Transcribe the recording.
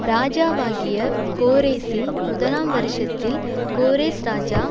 ராஜாவாகிய கோரேசின் முதலாம் வருஷத்தில் கோரேஸ் ராஜா